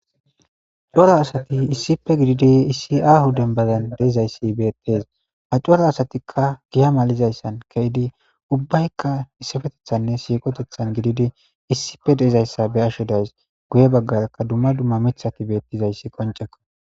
Coro asati issippe gididi issi a huden badan deizayssi beettes ha coro asatikka giya malizayssan keydi ubbaykka issafetethanne siiqotethan gididi issife deizayssa be asho days guye baggarakka dumma dumma mithati beettizayssi qoncekko.